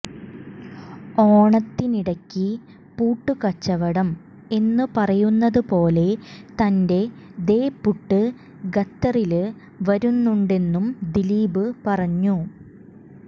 ഓണത്തിനിടയ്ക്ക് പുട്ടുകച്ചവടം എന്നു പറയുന്നത് പോലെ തന്റെ ദേ പുട്ട് ഖത്തറില് വരുന്നുണ്ടെന്നും ദിലീപ് പറഞ്ഞു